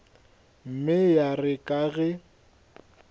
mme ya re ka ge